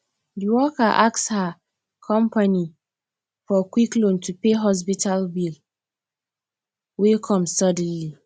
the worker ask her company for quick loan to pay hospital bill wey come suddenly